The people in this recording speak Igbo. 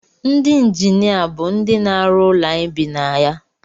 Ndị injinia bụ ndị na-arụ ụlọ anyị bi na ya